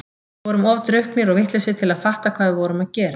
Við vorum of drukknir og vitlausir til að fatta hvað við vorum að gera.